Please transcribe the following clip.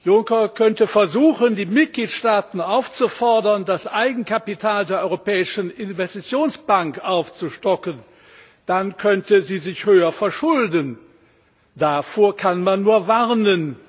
Juncker könnte versuchen, die Mitgliedstaaten aufzufordern, das Eigenkapital der Europäischen Investitionsbank aufzustocken dann könnte sie sich höher verschulden. Davor kann man nur warnen!